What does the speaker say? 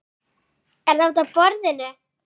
Er það útaf borðinu?